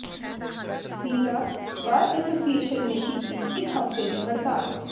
ਜ਼ੀਰਾ bar association ਨੇ ਕੀਤੀ ਇਕ ਹਫ਼ਤੇ ਦੀ ਹੜਤਾਲ